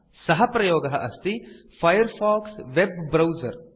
सः प्रयोगः अस्ति फायरफॉक्स वेब ब्राउजर